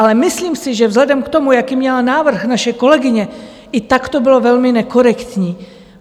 Ale myslím si, že vzhledem k tomu, jaký měla návrh naše kolegyně, i tak to bylo velmi nekorektní.